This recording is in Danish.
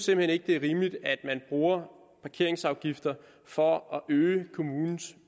hen ikke det er rimeligt at man bruger parkeringsafgifter for at øge kommunens